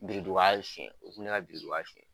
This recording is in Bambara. Biriduga sonya u tun bɛ ne ka biriduga sonya